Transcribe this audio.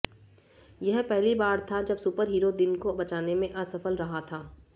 यह पहली बार था जब सुपरहीरो दिन को बचाने में असफल रहा था